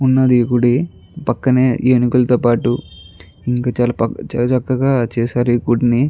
ఉన్నది గుడి పక్కనే ఏనుగుల తో పటు చాల చక్కగ చేసారు ఈ గుడిని.